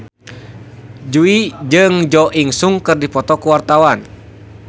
Jui jeung Jo In Sung keur dipoto ku wartawan